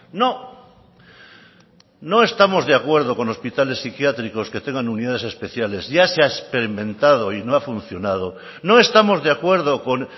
no no estamos de acuerdo con hospitales psiquiátricos que tengan unidades especiales ya se ha experimentado y no ha funcionado no estamos de acuerdo con